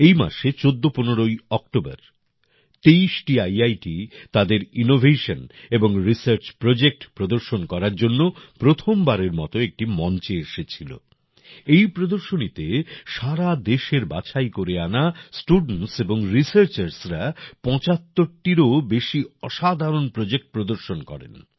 এই মাসে ১৪১৫ অক্টোবর ২৩টি ইআইটি তাদের ইনোভেশন এবং রিসার্চ প্রজেক্ট প্রদর্শন করার জন্য প্রথমবারের মতো একটি মঞ্চে এসেছিল। এই প্রদর্শনীতে সারা দেশের বাছাই করে আনা স্টুডেন্টস এবং Researchersরা ৭৫টিরও বেশি অসাধারণ প্রজেক্ট প্রদর্শন করেন